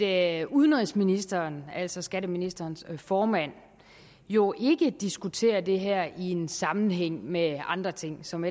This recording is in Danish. at udenrigsministeren altså skatteministerens formand jo ikke diskuterer det her i en sammenhæng med andre ting som